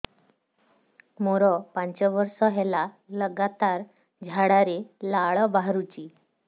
ମୋରୋ ପାଞ୍ଚ ବର୍ଷ ହେଲା ଲଗାତାର ଝାଡ଼ାରେ ଲାଳ ବାହାରୁଚି